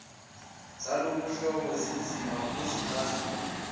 zaloluhlobo zinzima kuzixazulula